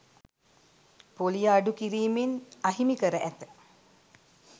පොලිය අඩු කිරීමෙන් අහිමි කර ඇත